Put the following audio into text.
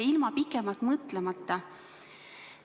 ilma pikemalt mõtlemata likviidsusreservi.